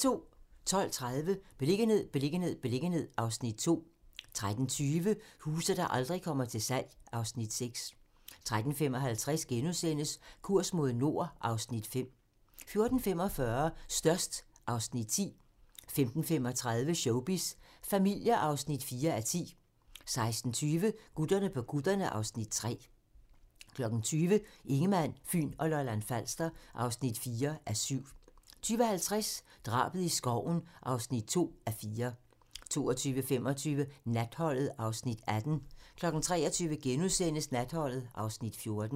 12:30: Beliggenhed, beliggenhed, beliggenhed (Afs. 2) 13:20: Huse, der aldrig kommer til salg (Afs. 6) 13:55: Kurs mod nord (Afs. 5)* 14:45: Størst (Afs. 10) 15:35: Showbiz familier (4:10) 16:20: Gutterne på kutterne (Afs. 3) 20:00: Ingemann, Fyn og Lolland-Falster (4:7) 20:50: Drabet i skoven (2:4) 22:25: Natholdet (Afs. 18) 23:00: Natholdet (Afs. 14)*